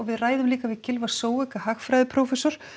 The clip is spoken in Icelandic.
við ræðum líka við Gylfa hagfræðiprófessor